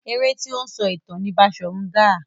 Eré tí ó ń sọ ìtàn ni Baṣòrun Gaa.